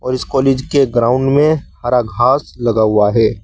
और इस कॉलेज के ग्राउंड में हरा घास लगा हुआ है।